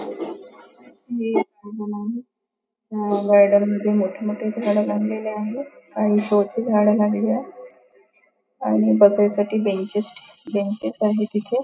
हे एक गार्डन आहे ह्या गार्डन मध्ये मोठी मोठी झाडं लागलेली आहेत काही शो ची झाडं लागलेली आहेत आणि बसायसाठी बेंचेस आहेत इथे.